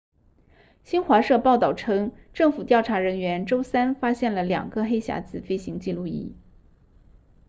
新华社报道称政府调查人员周三发现了两个黑匣子飞行记录仪